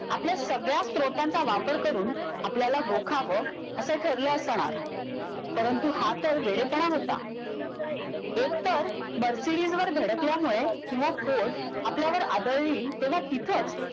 आपल्या सगळ्या स्त्रोतांचा वापर करून आपल्याला रोखावं असं ठरलं असणार परंतु हा तर वेडेपणा होता एक तर धडकल्यामुळे किंवा आपल्यावर आदळली तेव्हा तिथंच